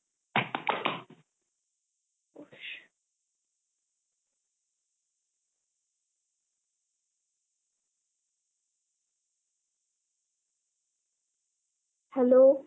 hello